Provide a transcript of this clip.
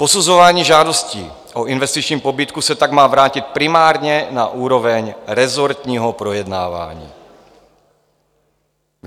Posuzování žádostí o investiční pobídku se tak má vrátit primárně na úroveň rezortního projednávání.